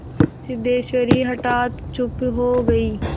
सिद्धेश्वरी हठात चुप हो गई